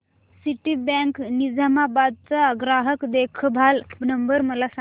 Citibank Nizamabad चा ग्राहक देखभाल नंबर मला सांगा